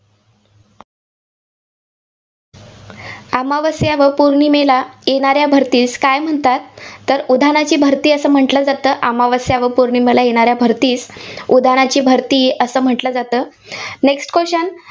अमावस्या व पौर्णिमेला येणाऱ्या भरतीस काय म्हणतात? तर उधाणाची भरती असं म्हटलं जातं. अमावस्या व पौर्णिमेला येणाऱ्या भरतीस उधाणाची भरती असं म्हटलं जातं. Next question